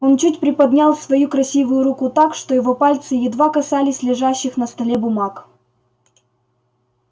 он чуть приподнял свою красивую руку так что его пальцы едва касались лежащих на столе бумаг